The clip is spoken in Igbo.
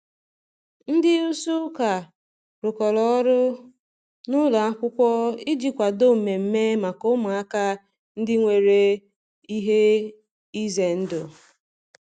Ndị isi ụka rụkọrọ ọrụ na ụlọ akwụkwọ iji kwadoo mmemme maka ụmụaka ndị nwere ihe ize ndụ.